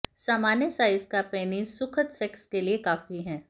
सामान्य साइज का पेनिस सुखद सेक्स के लिए काफी है